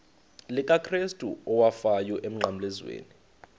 likakrestu owafayo emnqamlezweni